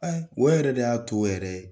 o yɛrɛ de y'a to yɛrɛ ye.